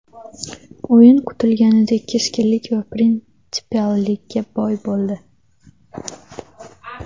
O‘yin kutilganidek keskinlik va prinsipiallikka boy bo‘ldi.